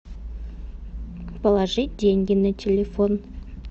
положить деньги на телефон